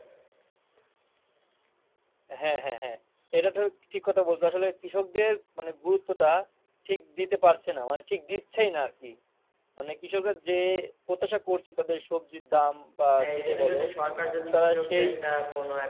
হ্যাঁ হ্যাঁ হ্যাঁ এটা তুমি ঠিক কথা বলছ আসলে কৃষক দের মানে গুরুত্ব টা ঠিক দিতে পারছে না মানে ঠিক দিচ্ছেই না আরকি। মানে কৃষকরা যে প্রত্যাশা করছে যে তাদের সবজীর দাম বা এই যে বলো তারা সেই,